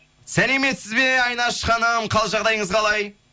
сәлеметсіз бе айнаш ханым қал жағдайыңыз қалай